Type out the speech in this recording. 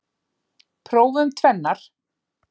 Prófum tvennar.